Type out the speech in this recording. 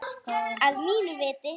Að mínu viti.